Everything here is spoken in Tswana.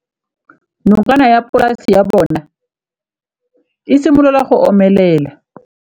Nokana ya polase ya bona, e simolola go omelela.